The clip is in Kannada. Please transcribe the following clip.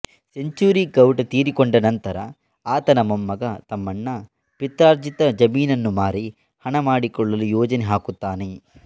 ಸೆಂಚುರಿಗೌಡ ತೀರಿಕೊಂಡನಂತರ ಆತನ ಮೊಮ್ಮಗ ತಮ್ಮಣ್ಣ ಪಿತ್ರಾರ್ಜಿತ ಜಮೀನನ್ನು ಮಾರಿ ಹಣ ಮಾಡಿಕೊಳ್ಳಲು ಯೋಜನೆ ಹಾಕುತ್ತಾನೆ